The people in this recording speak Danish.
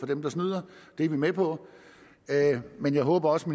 dem der snyder det er vi med på men jeg håber også